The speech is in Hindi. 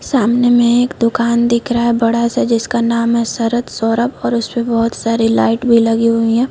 सामने में एक दुकान दिख रहा है बड़ा सा जिसका नाम है शरद सौरभ और उसपे बहुत सारी लाइट भी लगे हुई है।